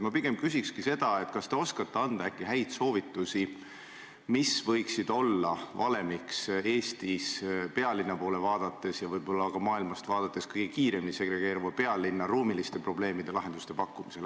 Ma pigem küsingi, kas te oskate anda häid soovitusi, mis võiksid olla valemiks Eestis, pealinna poole vaadates ja võib-olla ka maailmast vaadates, kõige kiiremini segregeeruva pealinna ruumilistele probleemidele lahenduste pakkumisel.